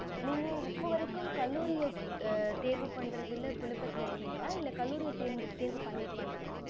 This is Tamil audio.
நீங்க இப்போ வரைக்கும் கல்லூரியா தேர்வு பன்றதுல குழப்பத்துல இருக்கீங்களா இல்ல கல்லூரிய தேர்வு பண்ணிடிங்கள